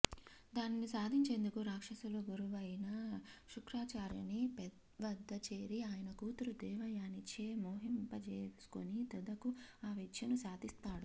దానిని సాధించేందుకు రాక్షసుల గురువైన శుక్రాచార్యుని వద్ద చేరి ఆయన కూతురు దేవయానిచే మోహింపజేసుకుని తుదకు ఆ విద్యను సాధిస్తాడు